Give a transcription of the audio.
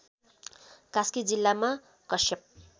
कास्की जिल्लामा कश्यप